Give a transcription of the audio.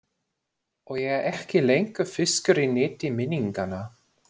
Og ég er ekki lengur fiskur í neti minninganna.